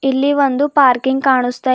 ಇಲ್ಲಿ ಒಂದು ಪಾರ್ಕಿಂಗ್ ಕಾಣುಸ್ತಾ ಇ--